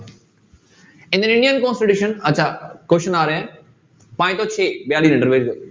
constitution ਅੱਛਾ question ਆ ਰਿਹਾ ਹੈ ਪੰਜ ਤੋਂ ਛੇ